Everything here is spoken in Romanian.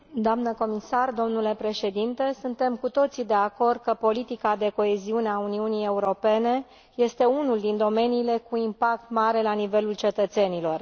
Doamnă comisar, domnule președinte, suntem cu toții de acord că politica de coeziune a Uniunii Europene este unul din domeniile cu impact mare la nivelul cetățenilor.